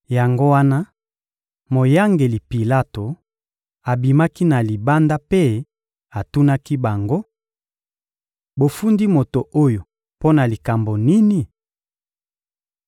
Yango wana moyangeli Pilato abimaki na libanda mpe atunaki bango: — Bofundi moto oyo mpo na likambo nini?